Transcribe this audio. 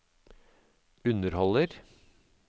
underholder